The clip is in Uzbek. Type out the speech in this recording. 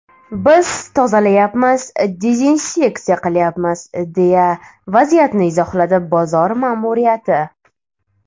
Biz tozalayapmiz, dezinseksiya qilyapmiz”, deya vaziyatni izohladi bozor ma’muriyati.